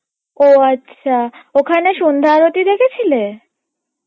ও আচ্ছা ওখানে সন্ধ্যা আরতি দেখেছিলে?